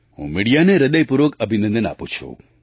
હું મિડિયાને હૃદયપૂર્વક અભિનંદન આપું છું